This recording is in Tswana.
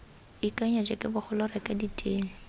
ikanya jeke bogolo reka ditene